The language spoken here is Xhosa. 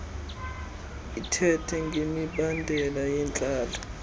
ithethe ngemibandela yentlalo